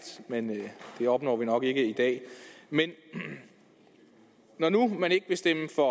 men det opnår vi nok ikke i dag men når nu man ikke vil stemme for